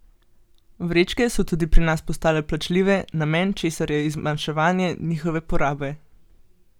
Vrečke so tudi pri nas postale plačljive, namen česar je zmanjševanje njihove porabe.